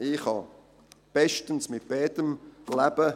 Ich kann bestens mit beidem leben.